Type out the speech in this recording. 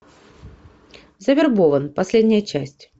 завербован последняя часть